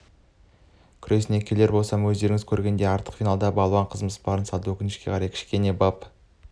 күресіне келер болсам өздеріңіз көргендей ақтық финалда балуан қызымыз барын салды өкінішке қарай кішкене бап